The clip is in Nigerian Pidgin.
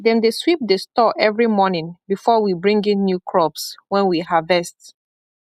them dey sweep the store every morning before we bring in new crops wen we harvest